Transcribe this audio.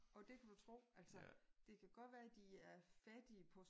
Og det kan du tro altså. Det kan godt være de er fattige på